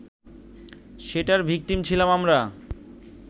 সেটার ভিকটিম ছিলাম আমরা